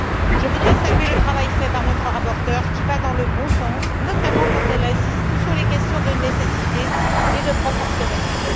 Je voudrais saluer le travail réalisé par notre rapporteure, qui va dans le bon sens, notamment quand elle insiste sur les questions de nécessité et de proportionnalité.